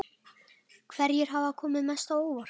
Hverjir hafa komið mest á óvart?